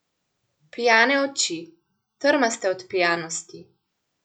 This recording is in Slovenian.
Pijane oči, trmaste od pijanosti.